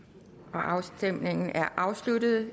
afstemningen er afsluttet